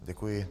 Děkuji.